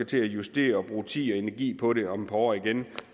til at justere og bruge tid og energi på det om et par år igen